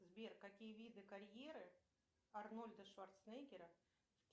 сбер какие виды карьеры арнольда шварценеггера